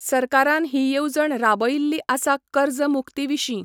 सरकारान हि येवजण राबयिल्ली आसा कर्ज मुक्ती विशीं